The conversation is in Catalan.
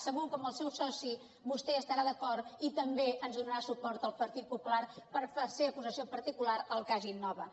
segur que amb el seu soci vostè hi estarà d’acord i també ens donarà suport al partit popular per ser acusació particular al cas innova